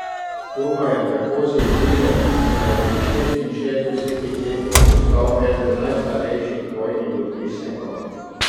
To ga je tako zjezilo, da je pri šestinšestdesetih letih postal eden najstarejših vojnih dopisnikov.